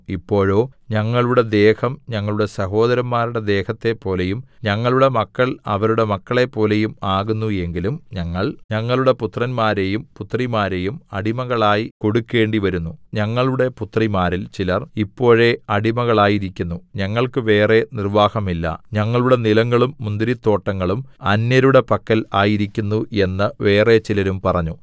ഇപ്പോഴോ ഞങ്ങളുടെ ദേഹം ഞങ്ങളുടെ സഹോദരന്മാരുടെ ദേഹത്തെപ്പോലെയും ഞങ്ങളുടെ മക്കൾ അവരുടെ മക്കളെപ്പോലെയും ആകുന്നുവെങ്കിലും ഞങ്ങൾ ഞങ്ങളുടെ പുത്രന്മാരെയും പുത്രിമാരെയും അടിമകളായി കൊടുക്കേണ്ടിവരുന്നു ഞങ്ങളുടെ പുത്രിമാരിൽ ചിലർ ഇപ്പോഴേ അടിമകളായിരിക്കുന്നു ഞങ്ങൾക്ക് വേറെ നിർവ്വാഹമില്ല ഞങ്ങളുടെ നിലങ്ങളും മുന്തിരിത്തോട്ടങ്ങളും അന്യരുടെ പക്കൽ ആയിരിക്കുന്നു എന്ന് വേറെ ചിലരും പറഞ്ഞു